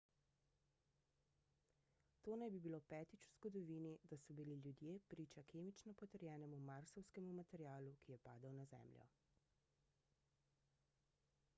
to naj bi bilo petič v zgodovini da so bili ljudje priča kemično potrjenemu marsovskemu materialu ki je padel na zemljo